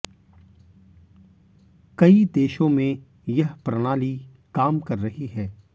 कई देशों में यह प्रणाली काम कर रही है